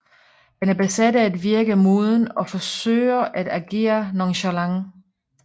Han er besat af at virke moden og forsøger at agere nonchalant